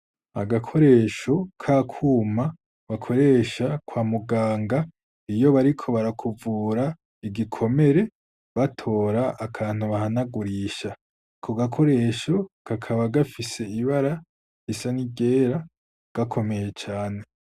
Agakoresho k'akuma bakoresha kwa muganga iyo bariko barakuvura igikomere batora akantu bahanagurisha, ako gakoresho kakaba gafise ibara isanigera gakomeye cane.